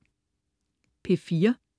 P4: